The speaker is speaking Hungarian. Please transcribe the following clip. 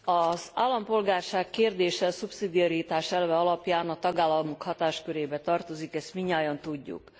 Az állampolgárság kérdése a szubszidiaritás elve alapján a tagállamok hatáskörébe tartozik, ezt mindnyájan tudjuk.